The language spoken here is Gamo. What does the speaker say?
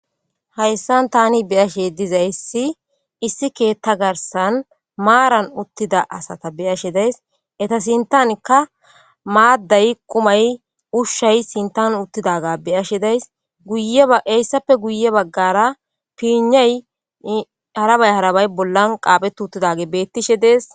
hayssan tani beyashe dizayssi issi keetta garsan maaran uttida asata beyashe days eta sintankka maadday qumay ushshay sintan uttidaga beyashe days uheyssappe guye baggara piinay harabay harabay bollan qaabe tuuttidage bettishe dees